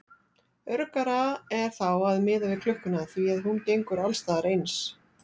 Öruggara er þá að miða við klukkuna því að hún gengur alls staðar eins.